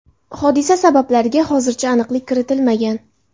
Hodisa sabablariga hozircha aniqlik kiritilmagan.